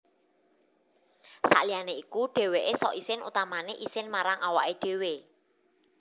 Saliyané iku dhèwèké sok isin utamané isin marang awaké dhéwé